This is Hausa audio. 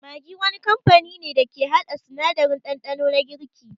Maggi wani kamfani ne dake haɗa sanadarin ɗanɗano na girki